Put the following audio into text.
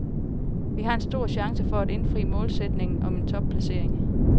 Vi har en stor chance for at indfri målsætningen om en topplacering.